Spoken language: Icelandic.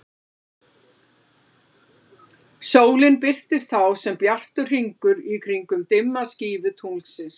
Sólin birtist þá sem bjartur hringur í kringum dimma skífu tunglsins.